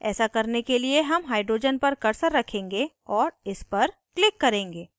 ऐसा करने के लिए हम hydrogen पर cursor रखेंगे और इस पर click करेंगे